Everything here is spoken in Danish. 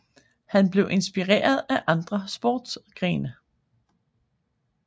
Han blev inspireret af andre sportsgrene